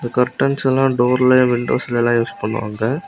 Curtains எல்லாம் டோர்ல விண்டோஸ்ல எல்லா யூஸ் பண்ணுவாங்க.